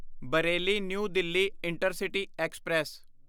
Bareilly new Delhi intercity express